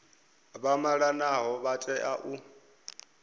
vha malanaho vha tea u